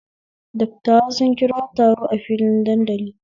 Dattawa sun kira taro a filin dandali